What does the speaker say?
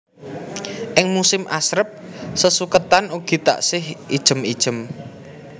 Ing musim asrep sesuketan ugi taksih ijem ijem